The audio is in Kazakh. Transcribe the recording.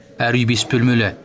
әр үй бес бөлмелі